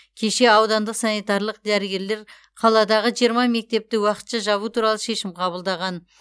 кеше аудандық санитарлық дәрігерлер қаладағы жиырма мектепті уақытша жабу туралы шешім қабылдаған